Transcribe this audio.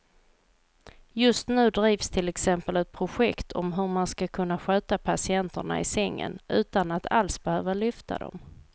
Just nu drivs till exempel ett projekt om hur man ska kunna sköta patienterna i sängen utan att alls behöva lyfta dem.